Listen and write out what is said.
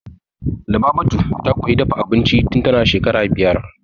Lubabatu ta koyi dafa abinci tun tana shekara biyar.